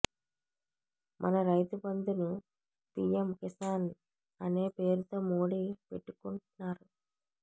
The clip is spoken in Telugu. మన రైతు బంధును పీఎం కిసాన్ అనే పేరుతో మోడీ పెట్టుకున్నారు